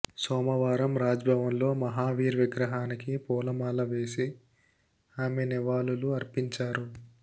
సోమవారం రాజ్భవన్లో మహావీర్ విగ్రహానికి పూలమాల వేసి ఆమె నివాళులు అర్పించారు